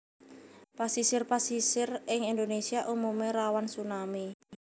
Pasisir pasisir ing Indonesia umume rawan tsunami